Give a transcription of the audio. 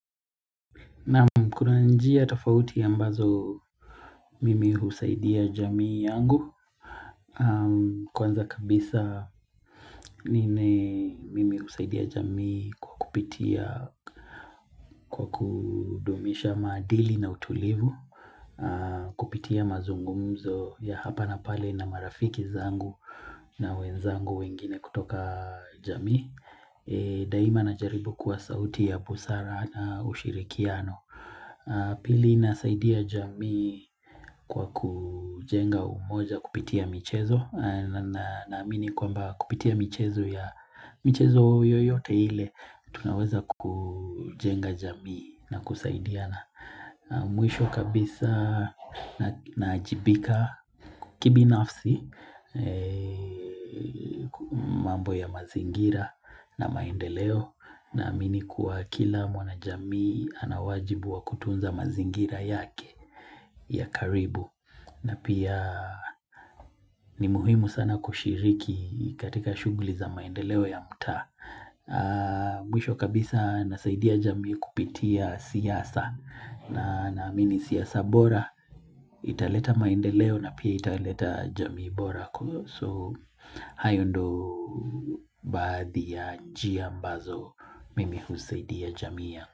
Naam kuna njia tofauti ambazo mimi husaidia jamii yangu. Kwanza kabisa mimi husaidia jamii kwa kupitia kudumisha maadili na utulivu. Kupitia mazungumzo ya hapa na pale na marafiki zangu na wenzangu wengine kutoka jamii. Daima najaribu kuwa sauti ya busara na ushirikiano. Pili nasaidia jamii. Kwa kujenga umoja kupitia michezo naamini kwamba kupitia michezo ya michezo yoyote ile Tunaweza kujenga jamii na kusaidiana Mwisho kabisa naajibika kibinafsi mambo ya mazingira na maendeleo Naamini kuwa kila mwana jamii ana wajibu wa kutunza mazingira yake ya karibu na pia ni muhimu sana kushiriki katika shughuli za maendeleo ya mutaa Mwisho kabisa nasaidia jamii kupitia siasa na naamini siasa bora italeta maendeleo na pia italeta jamii bora So hayo ndo baadhi ya njia mbazo Mimi husaidi ya jamii yangu.